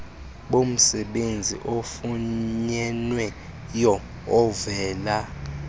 bomsebenzi ofunyenweyo ovela